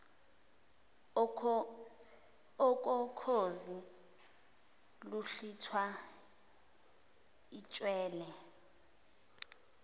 okokhozi luhlwitha itshwele